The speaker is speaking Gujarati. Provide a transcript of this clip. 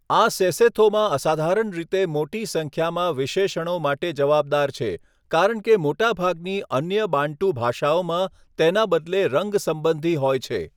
આ સેસોથોમાં અસાધારણ રીતે મોટી સંખ્યામાં વિશેષણો માટે જવાબદાર છે, કારણ કે મોટાભાગની અન્ય બાન્ટુ ભાષાઓમાં તેના બદલે રંગ સંબંધી હોય છે.